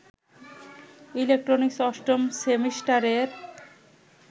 electronics অষ্টম সেমিস্টারের